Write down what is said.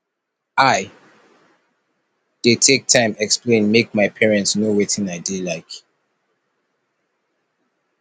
i dey take time explain make my parents know wetin i dey like